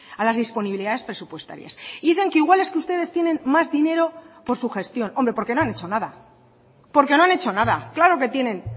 a las disponibilidades presupuestarias dicen que igual es que ustedes tienen más dinero por su gestión hombre porque no han hecho nada porque no han hecho nada claro que tienen